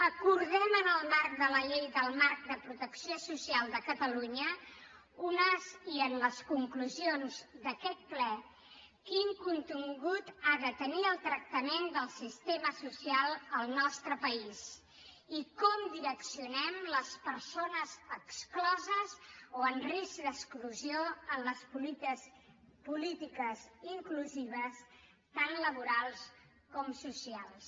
acordem en el marc de la llei del marc de protecció social de catalunya i en les conclusions d’aquest ple quin contingut ha de tenir el tractament del sistema social al nostre país i com encaminem les persones excloses o en risc d’exclusió a les polítiques inclusives tan laborals com socials